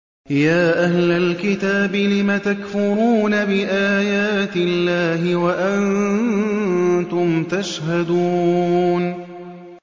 يَا أَهْلَ الْكِتَابِ لِمَ تَكْفُرُونَ بِآيَاتِ اللَّهِ وَأَنتُمْ تَشْهَدُونَ